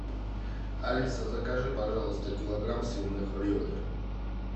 алиса закажи пожалуйста килограмм свиных ребер